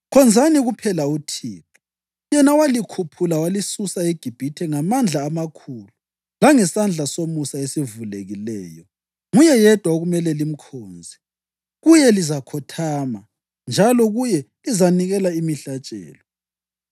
Khonzani kuphela uThixo, yena owalikhuphula walisusa eGibhithe ngamandla amakhulu langesandla somusa esivulekileyo, nguye yedwa okumele limkhonze. Kuye lizakhothama njalo kuye lizanikela imihlatshelo.